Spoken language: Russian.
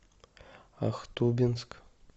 ахтубинск